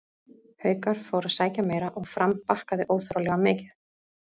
Haukar fóru að sækja meira og Fram bakkaði óþarflega mikið.